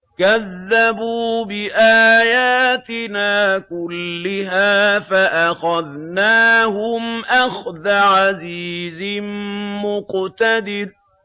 كَذَّبُوا بِآيَاتِنَا كُلِّهَا فَأَخَذْنَاهُمْ أَخْذَ عَزِيزٍ مُّقْتَدِرٍ